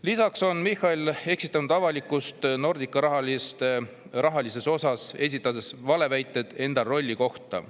Lisaks on Michal eksitanud avalikkust Nordicale raha, esitades valeväiteid enda rolli kohta.